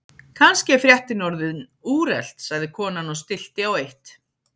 Kannski er fréttin orðin úrelt sagði konan og stillti á eitt.